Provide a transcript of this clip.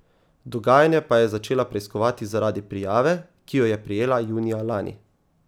Dogajanje pa je začela preiskovati zaradi prijave, ki jo je prejela junija lani.